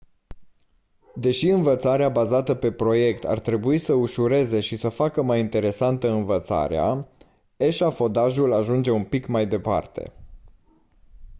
deși învățarea bazată pe proiect ar trebui să ușureze și să facă mai interesantă învățarea eșafodajul ajunge un pic mai departe